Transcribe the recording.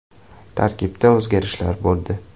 Tarkibda o‘zgarishlar bo‘ldi.